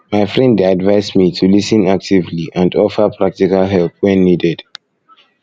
my friend dey advise me to lis ten actively and offer offer practical help when needed